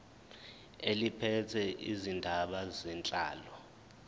eliphethe izindaba zenhlalo